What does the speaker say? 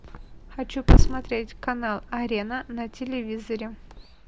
хочу посмотреть канал арена на телевизоре